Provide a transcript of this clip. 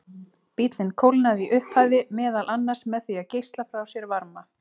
Bíllinn kólnaði í upphafi meðal annars með því að geisla frá sér varma.